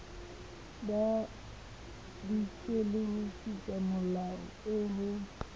bapiswe le tshupamolato eo ho